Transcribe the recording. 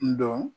N dɔn